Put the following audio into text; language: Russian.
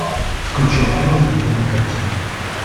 включай фильм знакомые картинки